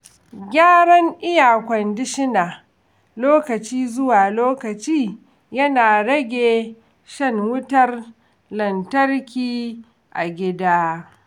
Gyaran iya-kwandishina lokaci zuwa lokaci yana rage shan wutar lantarki a gida.